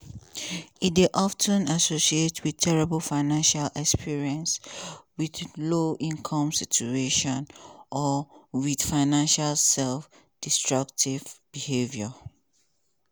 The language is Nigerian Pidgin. e dey of ten associate wit terrible financial experiences wit low-income situation or wit financial self-destructive behaviour.